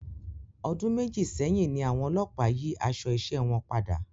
Ọdún méjì sẹyìn ní àwọn olópàá yí aṣọ isé wọn padà